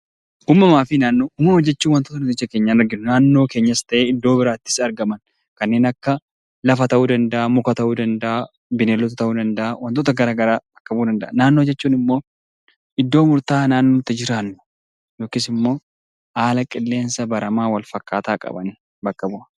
Uumamuma jechuun wantoota ija keenyaan agarru naannoo keenyaa iddoo biraattis argamu lafa ta'uu danda'a bineeldota ta'uu danda'a wantoota garaagaraa ta'uu danda'a. Naannoo jechuun immoo iddoo murtaa'aa nuti jiraannu yookiis immoo haala qilleensa baramaa qaban bakka bu'a